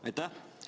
Aitäh!